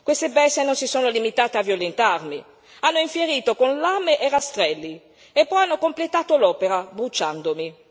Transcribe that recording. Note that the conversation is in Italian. Queste bestie non si sono limitate a violentarmi, hanno infierito con lame e rastrelli e poi hanno completato l'opera, bruciandomi.